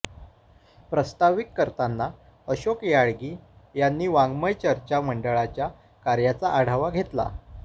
प्रास्ताविक करताना अशोक याळगी यांनी वाङ्मय चर्चा मंडळाच्या कार्याचा आढावा घेतला